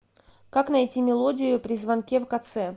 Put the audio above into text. как найти мелодию при звонке в кц